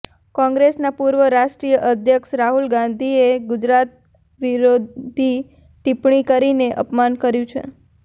કોંગ્રેસના પૂર્વ રાષ્ટ્રીય અધ્યક્ષ રાહુલ ગાંધીએ ગુજરાત વિરોધી ટિપ્પણી કરીને અપમાન કર્યું છે